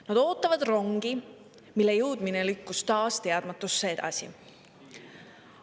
Nad ootavad rongi, mille jõudmine lükkus taas teadmatusse edasi.